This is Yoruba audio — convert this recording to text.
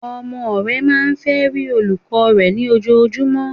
Ọmọ re máa n fe rí olùkó rè ní ojojú, mó